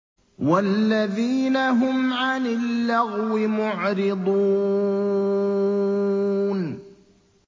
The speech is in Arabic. وَالَّذِينَ هُمْ عَنِ اللَّغْوِ مُعْرِضُونَ